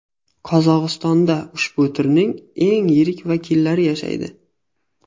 Qozog‘istonda ushbu turning eng yirik vakillari yashaydi.